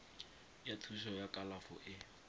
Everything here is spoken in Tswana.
ya thuso ya kalafo e